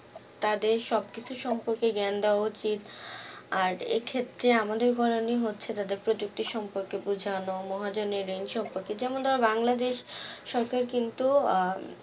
তাদের সবকিছু সম্পর্কে জ্ঞান দেয়া উচিত, আর আর এই ক্ষেত্রে আমাদের করণীয় হচ্ছে তাদের প্রযুক্তি সম্পর্কে বোঝানো মহাজন এর ঋণ সম্পর্কে যেমন ধরো বাংলাদেশ সরকার কিন্তু আহ